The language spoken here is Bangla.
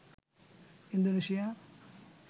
ইন্দোনেশিয়া